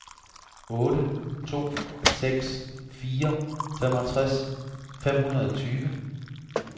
otte to seks fire femogtres fem hundrede og tyve